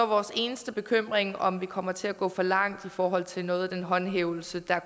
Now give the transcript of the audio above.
vores eneste bekymring om vi kommer til at gå for langt i forhold til noget af den håndhævelse der